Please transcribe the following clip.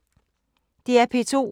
DR P2